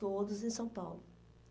Todos em São Paulo.